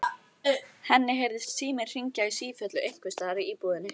Henni heyrðist síminn hringja í sífellu einhvers staðar í íbúðinni.